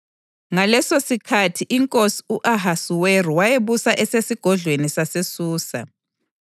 Ngalesosikhathi inkosi u-Ahasuweru wayebusa esesigodlweni saseSusa,